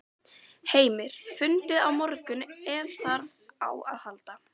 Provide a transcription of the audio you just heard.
Heimir: Fundið á morgun ef þarf á að halda?